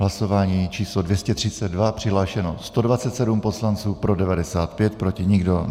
Hlasování číslo 232, přihlášeno 127 poslanců, pro 95, proti nikdo.